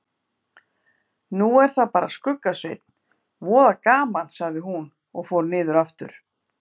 Nú er það bara Skugga-Sveinn, voða gaman sagði hún og fór niður aftur.